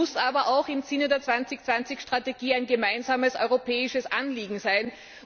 Das muss aber auch im Sinne der 2020 Strategie ein gemeinsames europäisches Anliegen sein.